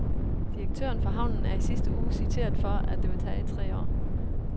Direktøren for havnen er i sidste uge citeret for, at det vil tage tre år.